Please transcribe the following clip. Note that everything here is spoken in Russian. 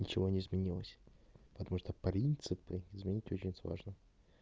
ничего не изменилось потому что принципы изменить очень сложно